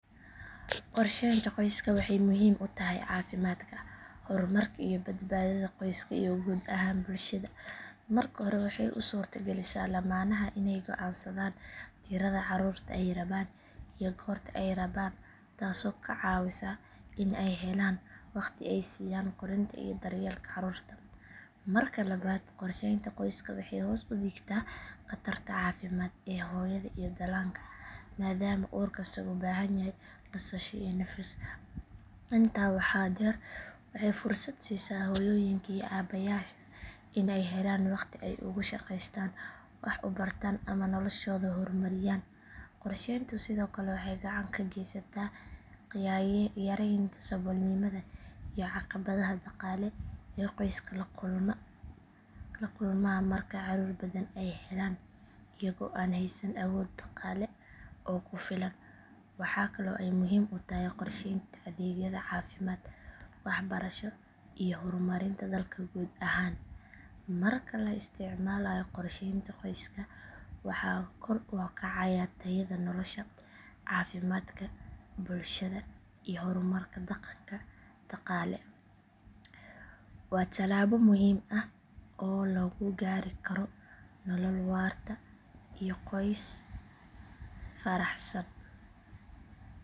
Qorsheynta qoyska waxay muhiim u tahay caafimaadka, horumarka iyo badbaadada qoysaska iyo guud ahaan bulshada. Marka hore waxay u suurto galisaa lamaanaha inay go’aansadaan tirada caruurta ay rabaan iyo goorta ay rabaan taasoo ka caawisa in ay helaan waqti ay siiyaan koriinta iyo daryeelka caruurta. Marka labaad qorsheynta qoyska waxay hoos u dhigtaa khatarta caafimaad ee hooyada iyo dhallaanka maadaama uur kasta uu u baahan yahay nasasho iyo nafis. Intaa waxaa dheer waxay fursad siisaa hooyooyinka iyo aabbayaasha in ay helaan waqti ay ugu shaqeystaan, wax u bartaan ama noloshooda horumariyaan. Qorsheyntu sidoo kale waxay gacan ka geysataa yareynta saboolnimada iyo caqabadaha dhaqaale ee qoysaska la kulmaan marka caruur badan ay helaan iyagoo aan haysan awood dhaqaale oo ku filan. Waxaa kale oo ay muhiim u tahay qorsheynta adeegyada caafimaad, waxbarasho iyo horumarinta dalka guud ahaan. Marka la isticmaalayo qorsheynta qoyska waxaa kor u kacaya tayada nolosha, caafimaadka bulshada iyo horumarka dhaqan dhaqaale. Waa talaabo muhiim ah oo lagu gaari karo nolol waarta iyo qoys faraxsan.